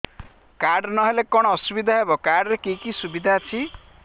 card ନହେଲେ କଣ ଅସୁବିଧା ହେବ କାର୍ଡ ରେ କି କି ସୁବିଧା ଅଛି